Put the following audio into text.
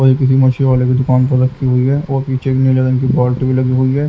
और ये किसी मशीन वाले की दुकान पर रखी हुई हैऔर पीछे एक नीले रंग की बाल्टी भी लगी हुई है।